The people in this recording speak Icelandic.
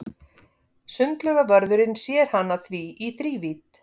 Sundlaugarvörðurinn sér hana því í þrívídd.